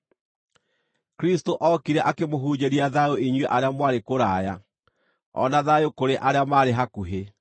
Kristũ ookire akĩmũhunjĩria thayũ inyuĩ arĩa mwarĩ kũraya, o na thayũ kũrĩ arĩa maarĩ hakuhĩ.